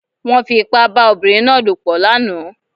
Wọ́n fi ipá bá obìnrin náà lòpọ̀ lánàá